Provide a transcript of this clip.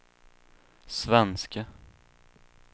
svenske